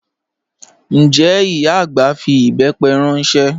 Njẹ́ ìyá agbá fí ìbẹ́pẹ̀ ranṣẹ?